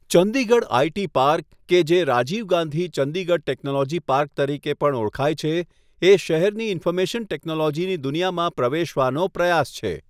Chandigarh IT park, કે જે Rajiv Gandhi Chandigarh technology park તરીકે પણ ઓળખાય છે, એ શહેરની ઇન્ફોર્મેશન ટેકનોલોજીની દુનિયામાં પ્રવેશવાનો પ્રયાસ છે.